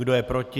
Kdo je proti?